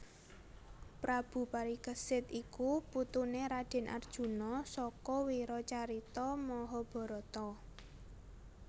Prabu Parikesit iku putuné Radèn Arjuna saka wiracarita Mahabharata